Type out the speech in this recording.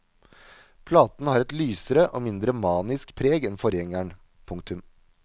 Platen har et lysere og mindre manisk preg enn forgjengeren. punktum